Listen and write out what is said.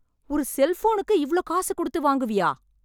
ஒரு செல்போனுக்கு இவ்ளோ காசு கொடுத்து வாங்குவியா?